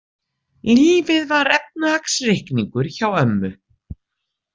Lífið var efnahagsreikningur hjá ömmu.